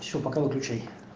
ещё пока выключай